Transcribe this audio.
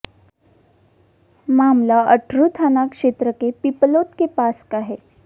मामला अटरू थाना क्षेत्र के पिपलोद के पास का है